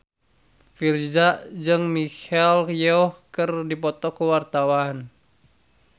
Virzha jeung Michelle Yeoh keur dipoto ku wartawan